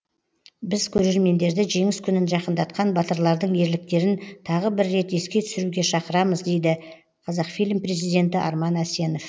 біз көрермендерді жеңіс күнін жақындатқан батырлардың ерліктерін тағы бір рет еске түсіруге шақырамыз деді қазақфильм президенті арман әсенов